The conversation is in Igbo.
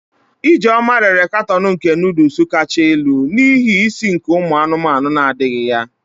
Ijeoma rere katoon nke noodles kacha elu, n'ihi isi nke umu anumanu na-adighi ya.